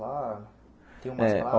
Lá tem umas É ó